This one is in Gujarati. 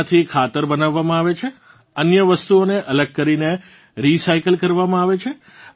તેનાંથી ખાતર બનાવવામાં આવે છે અન્ય વસ્તુઓને અલગ કરીને રીસાયકલ કરવામાં આવે છે